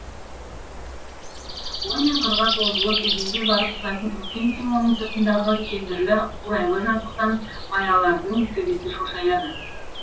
ой мен қырға созылып өзенге барып құлайтын үлкен селоның сыртындағы кендірлі қурайлы жазықтан маялардың төбесі шошаяды